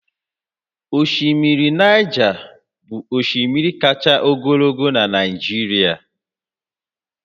Osimiri Naịja bụ osimiri kacha ogologo na Nijirịa